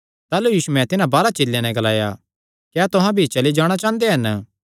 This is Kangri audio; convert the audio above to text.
ताह़लू यीशुयैं तिन्हां बारांह चेलेयां नैं ग्लाया क्या तुहां भी चली जाणा चांह़दे हन